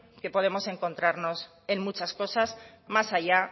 que podemos encontrarnos en muchas cosas más allá